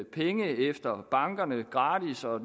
penge efter bankerne gratis og at